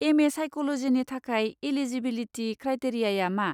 MA. साइक'ल'जिनि थाखाय eligibility क्राइटेरियाआ मा?